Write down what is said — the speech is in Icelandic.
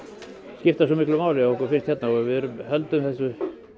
skipta svo miklu máli að okkur finnst hérna og við höldum þessum